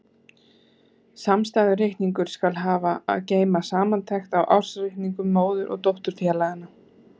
Samstæðureikningur skal hafa að geyma samantekt á ársreikningum móður- og dótturfélaganna.